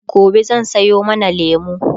gobe zan Sayo mana lemu